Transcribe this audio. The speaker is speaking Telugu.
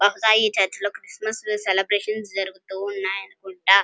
ఈ చర్చ్ లో క్రిస్టమస్ సెలబ్రేషన్ జరుగుతూఉన్నాయి అనుకుంట.